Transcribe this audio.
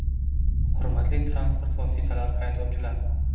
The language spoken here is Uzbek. Hurmatli transport vositalari haydovchilari!